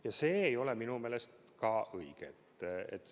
Ja see ei ole minu meelest õige.